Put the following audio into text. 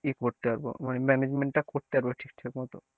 কি করতে পারব মানে management টা করতে পারব ঠিকঠাক মত।